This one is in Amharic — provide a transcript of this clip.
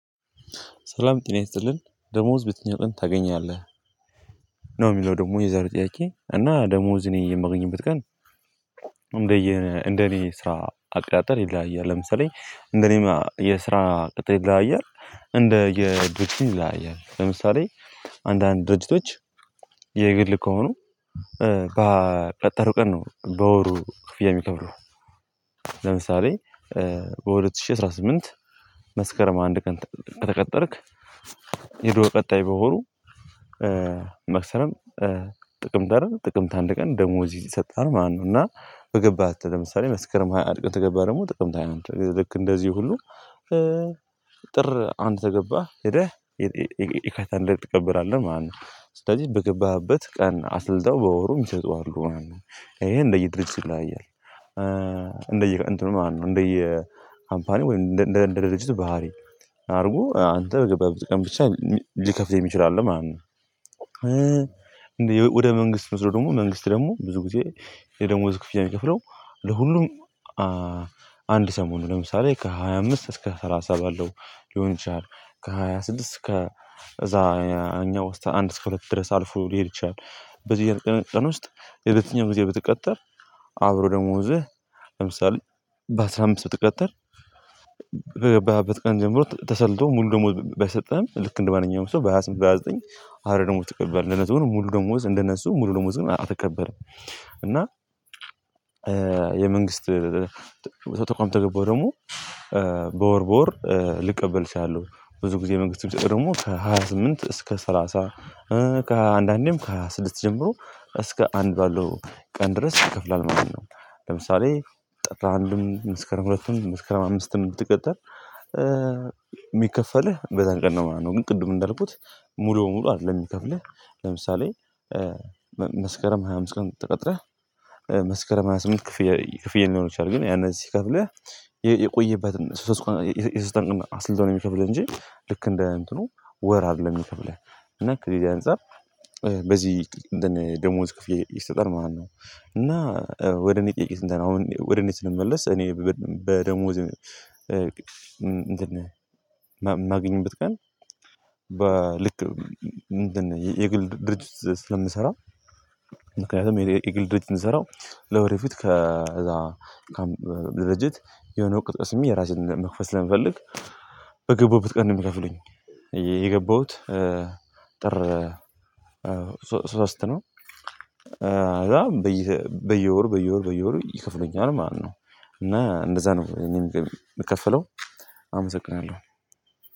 ሰላም ጠና ይስጥልን ደሞዝ በዬትኛው ቀን ታገኛለህ? ነው የሚለው ደግሞ የዛሬ ጥያቄ እና ደሞዝ እኔ የማገኝበት ቀን እንደኔ ስራ አቅጣጠል ይለያያል ለምሳሌ እንደኔ የስራ ቅጥል ይለያያል እንደ የድርጅት ይለያያል ለምሳሌ አንዳንድ ድርጅቶች የግል ከሆኑ ባ በቀጠሩ ቀን ነው በወሩ ክፍያ የሚከፍሉ ለምሳሌ በሁለት ሺህ አስራ ስምንት መስከረም አንድ ቀን ከተቀጠርክ የዱር ቀጣይ በወሩ መክሰረም ጥቅምት አይደል ጥቅምት አንድ ቀን ደሞዝህ ይሰጠሃል ማለት ነው እና በገባህ ተለምሳሌ መስከረም ሃያ አንድ ተገባ ደግሞ ጥቅምት ሃያ አንድ ልክ እንደዚህ ሁሉ ጥር አንድ ተገባህ ሄደህ የካይታን ደርግ ትቀበራለህ ማለት ነው። ስለዚህ በገባህበት ቀን አስልተው በወሩ የሚሰጡ አሉ ማለት ነው። ይሄ እንደየድርጅት ይለያያል። እንትኑ ማለት ነው እንደየ ካምፓኒ ወይም እንደ እንደ ድሪጅቱ ባህሪ አድርጎ አንተ በገባ ብቻ ሊከፍልህ የሚችል አለ ማለት ነው። እንዴ ወደ መንግስት ምስሮ ደግሞ መንግስት ደግሞ ብዙ ጊዜ የደሞዝ ክፍያ የሚከፍለው ለሁሉም አንድ ሰሞን ነው ለምሳሌ ከሃያ አምስት እስከ ሰላሳ ባለው ሊሆን ይችላል። ከሃያ ስድስት ከ እዛ እኛ ወስታ አንድ እስከ ሁለት ድረስ አልፎ ሊሄድ ይችላል። በዚህ እያልክ ቅንጥቅን ውስጥ የትኛውም ጊዜ ብትቀጠር አብሮ ደሞዝህ ለምሳሌ በአስራ አምስት ብትቀጥር በገባበት ቀን ጀምሮ ተሰልቶ ሙሉ ደግሞ ባይሰጠን ልክ እንደማንኛውም ሰው በሃያ ስምንት በሃያ ዘጠኝ አሁን ደግሞ ተቀበል ሙሉ ደግሞዝ እንደነሱ ሙሉ ደዝሞ አልተከበረም እና የመንግስት ተቋም ተገባው ደግሞ በወር በወር ልቀበል አችላለው ብዙ ጊዜ መንግስቱ ደግሞ ከሃያ ስምንት እስከ ሰላሳ ከአንዳንዴም ከስድስት ጀምሮ እስከ አንድ ባለው ቀን ድረስ ይከፍላል ማለት ነው። ለምሳሌ ጠጣ አንዱን ምስከረን ሁለቱን ምስከረም አምስትን ብትቀጠር የሚከፈልህ በዛን ቀን ነው ማለት ነው። ግን ቅድም እንዳልኩት ሙሉ በሙሉ አይደለም የሚከፍልህ ለምሳሌ መስከረም ሃያ አምስት ቀን ተቀጥረህ መስከረም ሃያ ስምንት ክፍያ ክፍያ ሊሆን ይችላል። ግን ያንን እዚህ ከፍለህ የቆየበትን ሶስት ቆንጆ የሰልተኛ አስልቶ ነው የሚከብለን እንጂ ልክ እንደ እንትኑ ወር አይደለም የሚከፍልህ እና ክሪሊያ አንፃር በዚህ ደሞዝ ክፍያ ይሰጣል ማለት ነው። እና ወደ እኔ ጠይቄት እንተና አሁን ወደ እኔ ስንመለስ እኔ በደሞዝ እንትን የማግኝበት ቀን በልክ የግል ድርጅት ስለምንሰራው ምክንያቱም የግል ድርጅት የሚሰራው ለወሬ ፊት ከዛ ለደሪጀት የሆነው አዉቀት ቀስሜ የራሴን መክፈት ስለምፈልግ በገባዉበት ቀን ነው የሚከፍሉኝ የገባዉት ጥር ሶስት ነው። በየወሩ በየወሩ በየወሩ ይከፍሉኛል ማለት ነው። እና እንደዛ ነው የምከፍለው አመሰግናለው።